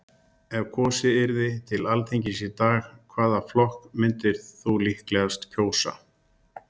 Spurt var: Ef kosið yrði til Alþingis í dag, hvaða flokk myndir þú líklegast kjósa?